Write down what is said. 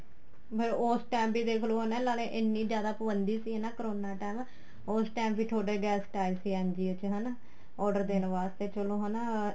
ਉਸ time ਵੀ ਦੇਖਲੋ ਹੈਨਾ ਇਹਨਾ ਨੇ ਇੰਨੀ ਜਿਆਦਾ ਪਾਬੰਦੀ ਸੀ ਕਰੋਨਾ time ਉਸ time ਵੀ ਤੁਹਾਡੇ guest ਆਏ ਸੀ NGO ਚ ਹਨਾ order ਦੇਣ ਵਾਸਤੇ ਚਲੋ ਹਨਾ